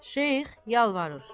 Şeyx yalvarır: